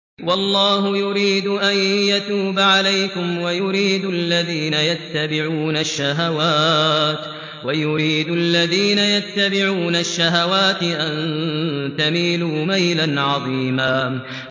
وَاللَّهُ يُرِيدُ أَن يَتُوبَ عَلَيْكُمْ وَيُرِيدُ الَّذِينَ يَتَّبِعُونَ الشَّهَوَاتِ أَن تَمِيلُوا مَيْلًا عَظِيمًا